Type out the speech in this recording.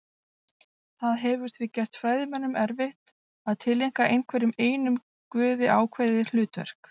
Það hefur því gert fræðimönnum erfitt að tileinka einhverjum einum guði ákveðið hlutverk.